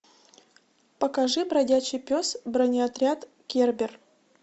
покажи бродячий пес бронеотряд кербер